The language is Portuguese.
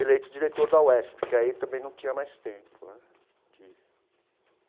eleito diretor da UESP, porque aí também não tinha mais tempo né de.